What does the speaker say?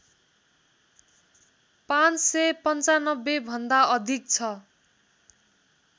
५९५ भन्दा अधिक छ